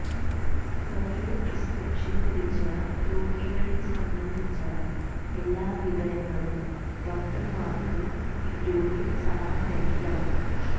ഒരേ പ്രിസ്ക്രിപ്ഷന് ലഭിച്ച രോഗികളെ സംബന്ധിച്ച എല്ലാ വിവരങ്ങളും ഡോക്ടാര്മാര്ക്ക് ഇതിലൂടെ സമാഹരിക്കാം